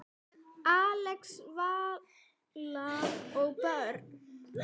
Axel, Vala og börn.